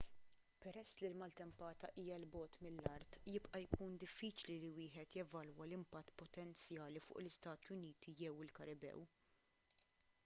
peress li l-maltempata hija l bogħod mill-art jibqa' jkun diffiċli li wieħed jevalwa l-impatt potenzjali fuq l-istati uniti jew il-karibew